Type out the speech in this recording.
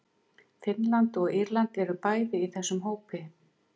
Finnland og Írland eru bæði í þessum hópi.